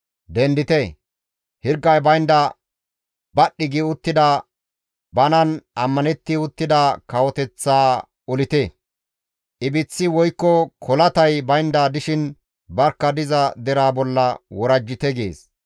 «Dendite! Hirgay baynda badhdhi gi uttida banan ammanetti uttida kawoteththaa olite! Ibiththi woykko kolatay baynda dishin barkka diza deraa bolla worajjite» gees.